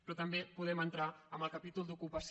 però també podem entrar en el capítol d’ocupació